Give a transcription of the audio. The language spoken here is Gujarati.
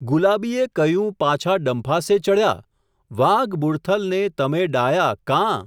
ગુલાબીએ કહ્યું પાછા ડંફાસે ચડ્યા ? વાઘ બુડથલ ને તમે ડાહ્યા, કાં?.